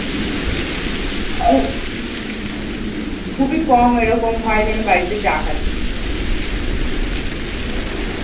খুবই কম ঐরকমই হয় যে আমি বাড়িতে চা খাচ্ছি